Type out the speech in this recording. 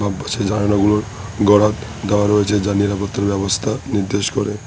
বাম পাশে জানালাগুলোর গরাদ দেওয়া রয়েছে যা নিরাপত্তার ব্যবস্থা নির্দেশ করে।